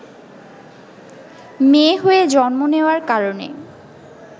মেয়ে হয়ে জন্ম নেওয়ার কারণে